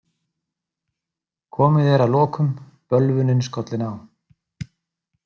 Komið er að lokum, bölvunin skollin á.